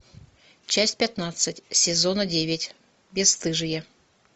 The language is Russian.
часть пятнадцать сезона девять бесстыжие